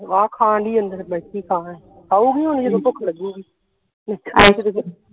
ਆਹੋ ਖਾਣਦੀ ਅੰਦਰ ਬੈਠੀ ਖਾਉਂਗੀ ਹੁਣ ਜਦੋ ਭੁੱਖ ਲੱਗੂਗੀ